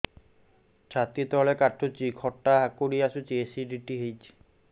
ଛାତି ତଳେ କାଟୁଚି ଖଟା ହାକୁଟି ଆସୁଚି ଏସିଡିଟି ହେଇଚି